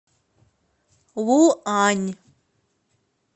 луань